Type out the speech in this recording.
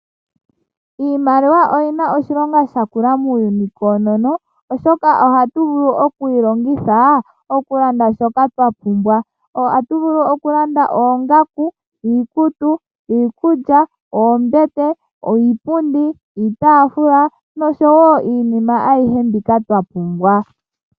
Iimaliwa oyina oshilonga oshinene muuyuni koonono, oshoka ohatu vulu okuyi longitha, okulanda shoka twa pumbwa. Ohatu vulu okulanda oongaku, iikutu, iikulya, oombete, iipundi, iitaafula , noshowo iinima ayihe mbyoka twa pumbwa.